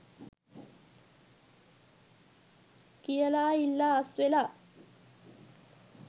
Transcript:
කියලා ඉල්ලා අස්වෙලා.